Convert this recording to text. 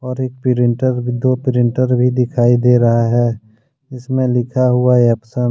ऊपर एक प्रिंटर दो प्रिंटर भी दिखाई दे रहा है जिसमें लिखा हुआ एपसन ।